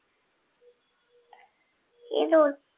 কি rule